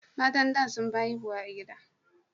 Matan da sun fi haihuwa a gida